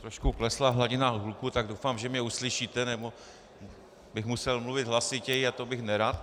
Trošku klesla hladina hluku, tak doufám, že mě uslyšíte, nebo bych musel mluvit hlasitěji a to bych nerad.